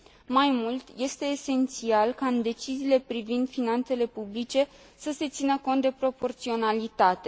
Mai mult, este esențial ca, în deciziile privind finanțele publice, să se țină cont de proporționalitate.